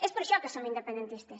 és per això que som independentistes